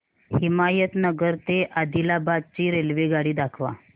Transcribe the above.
हिमायतनगर ते आदिलाबाद ची रेल्वेगाडी दाखवा